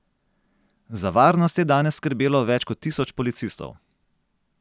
Za varnost je danes skrbelo več kot tisoč policistov.